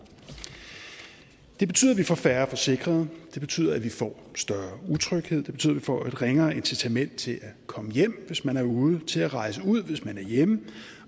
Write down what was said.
det betyder at vi får færre forsikrede det betyder at vi får større utryghed det betyder at man får et ringere incitament til at komme hjem hvis man er ude og til at rejse ud hvis man er hjemme